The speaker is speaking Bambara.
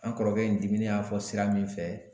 An kɔrɔkɛ in diminen y'a fɔ sira min fɛ